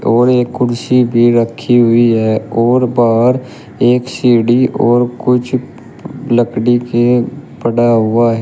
और एक कुर्सी भी रखी हुई है और बाहर एक सीढ़ी और कुछ लकड़ी के पड़ा हुआ है।